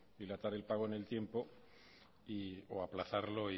dilatar el pago en el tiempo o aplazarlo